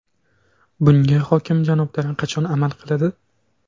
Bunga hokim janoblari qachon amal qiladi?